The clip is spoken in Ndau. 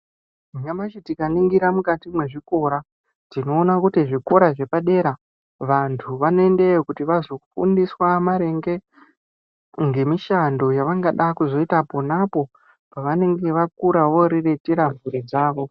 Nyamashi tikaningira mukati mwezvikora, tinoona kuti zvikora zvepadera vantu vanoendeyo Kuti vazofundiswa maringe ngemishando yavangada kuzoita ponapo pavenenge vakura voriritira mhuri dzavo.